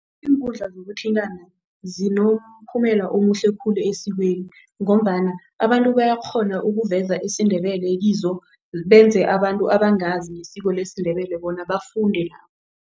Iinkundla zokuthintana omuhle khulu esikweni ngombana abantu bayakghona ukuveza isiNdebele kizo benze abantu abangazi ngesiko lesiNdebele bona bafunde